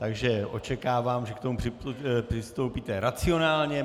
Takže očekávám, že k tomu přistoupíte racionálně.